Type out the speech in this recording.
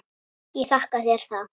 Ég þakka þér það.